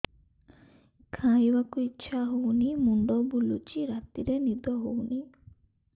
ଖାଇବାକୁ ଇଛା ହଉନି ମୁଣ୍ଡ ବୁଲୁଚି ରାତିରେ ନିଦ ହଉନି